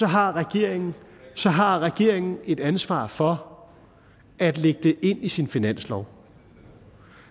har regeringen har regeringen et ansvar for at lægge det ind i sin finanslov